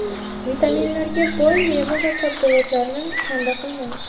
Vitaminlarga boy meva va sabzavotlarni kanda qilmang.